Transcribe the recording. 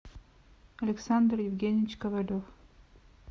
александр евгеньевич ковалев